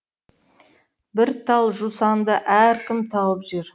бір тал жусанды әркім тауып жер